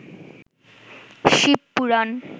Shiva Purana